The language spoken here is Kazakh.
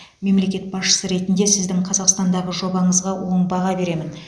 мемлекет басшысы ретінде сіздің қазақстандағы жобаңызға оң баға беремін